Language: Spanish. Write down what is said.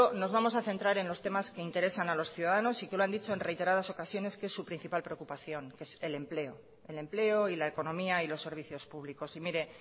nos vamos a centrar en los temas que interesan a los ciudadanos y que lo han dicho en reiteradas ocasiones que es su principal preocupación que es el empleo el empleo y la economía y los servicios públicos y mire